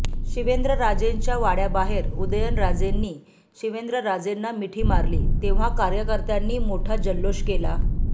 शिवेंद्रराजेंच्या वाड्याबाहेर उदयनराजेंनी शिवेंद्रराजेंना मिठी मारली तेव्हा कार्यकर्त्यांनी मोठा जल्लोष केला